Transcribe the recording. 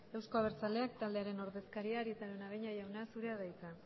euzko abertzaleak taldearen ordezkaria arieta araunabeña jauna zurea da hitza